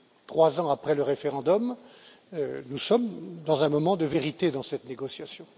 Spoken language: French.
Trois ans après le référendum, nous sommes dans un moment de vérité dans cette négociation.